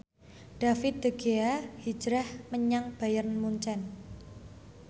David De Gea hijrah menyang Bayern Munchen